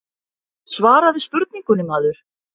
Svaraðu spurningunni maður.